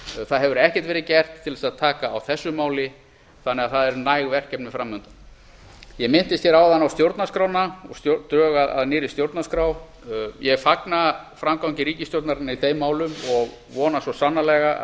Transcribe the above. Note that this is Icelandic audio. það hefur ekkert verið gert til þess að taka á þessu máli þannig að verkefnin fram undan eru næg ég minntist hér áðan á stjórnarskrána og drög að nýrri stjórnarskrá ég fagna framgangi ríkisstjórnarinnar í þeim málum og vona svo sannarlega